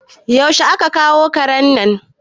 Yaushe a ka kawo karen nan?